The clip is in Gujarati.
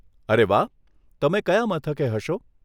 અરે વાહ, તમે કયા મથકે હશો?